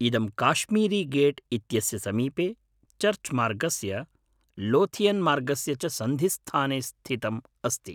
इदं काश्मीरीगेट् इत्यस्य समीपे, चर्च् मार्गस्य, लोथियन्मार्गस्य च सन्धिस्थाने स्थितम् अस्ति।